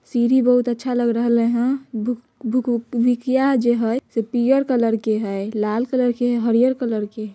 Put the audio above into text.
सीढ़ी बहुत ही अच्छा लग रहले हन। भूक भूख भूकिया जे हई से पियर कलर के हई लाल कलर के हरिहर कलर के |